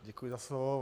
Děkuji za slovo.